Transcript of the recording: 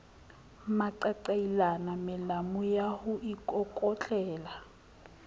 maqaqailana melamu ya ho ikokotlela